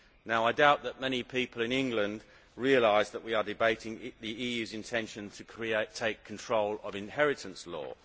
Now, I doubt that many people in England realise that we are debating the EU's intention to take control of inheritance law.